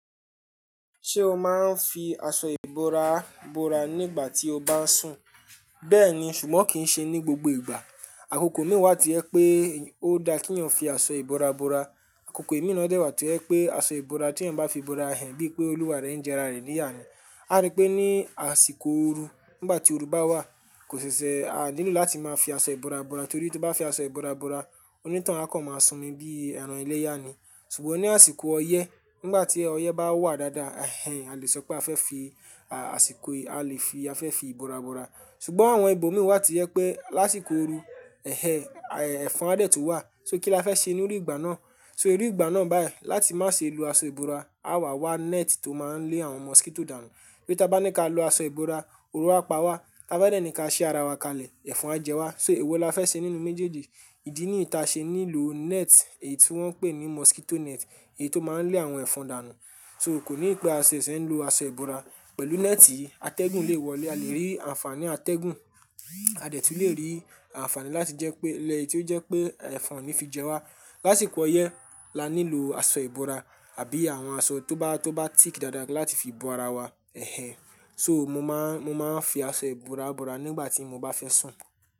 Ṣé o máa ń fi aṣọ ìbora bora nígbà tí o bá ń sùn? Bẹ́ẹ̀ni, ṣùgbọ́n kì í ṣe ní gbogbo ìgbà. Àkókò mi wà ti yẹ pé ó dá kínyàn fi aṣọ ìbora bora. Àkókò imi na dẹ́ wà tí o jẹ pé aṣọ ìbora tí ẹeyan bá fi bora ẹ́n bíi pé olúwa rẹ ń jẹ ara rẹ ní ìyà ni A rí pé ní àsìkò ooru nígbà tí oru bá wà kò ṣibṣẹ́, a nílò láti máa fi aṣọ ìbora bora torí tí bá fi aṣọ ìbora bora onítàun a kàn máa sùn mí bí ẹran iléya ni. Ṣùgbọ́n ní àsìkò ọyẹ́ nígbà tí ọyẹ́ bá wà dáadáa, ẹ́ hẹ́n a lè sọ pé a fẹ́ fi, à, àsìkò yìí a lè fi a fẹ́ fi ìbora bora. Ṣùgbọ́n àwọn ibòmí wà tí yẹ pé lásìkò ooru, ẹ́ hẹ́ ẹ̀fọn a dẹ́ tún wà, só kí la fẹ́ ṣe nínú ìgbà náà? Só inú ìgbà náà báyìí láti má ṣe lo aṣọ ìbora, a wà wá net tó máa ń lé àwọn mosquito dànù. Tori tá bá ní ká lo aṣọ ìbora, oru a pa wá. Tá bá dẹ́ ní ká ṣí ara wa kalẹ̀ ẹ̀fọn á jẹ wá. Só èwo la fẹ́ ṣe nínú méjèèjì? Ìdí nìyí tí a ṣe nílo net èyí tí wón ń pè ní mosquito net èyí tó máa ń lé àwọn ẹ̀fọn dànù. Só kò ní ìpẹ́ a ṣẹ̀ ṣẹ̀ ń lo aṣọ ìbora. Pẹ̀lú net yìí atẹ́gùn lè wọlé a lè rí àǹfàní atẹ́gùn. A dẹ́ tún lè rí àǹfàní láti jẹ́ pé ilé yìí tí ó jẹ́ pé ẹ̀fọn ò ní fi jẹ wá. Lásìkò ọyẹ́ la nílò aṣọ ìbora àbí àwọn aṣọ tó bá, tó bá tíìkì dáadáa láti fi bo ara wa. Ẹ̀hẹn! Só mo máa ń, mo máa ń fi aṣọ ìbora bora nígbà tí mo bá fẹ́ sùn.